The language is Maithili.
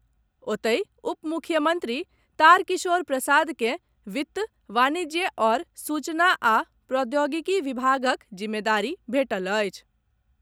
ओतहि, उपमुख्यमंत्री तारकिशोर प्रसाद के वित्त, वाणिज्य आओर सूचना आ प्रौद्योगिकी विभागक जिम्मेदारी भेटल अछि।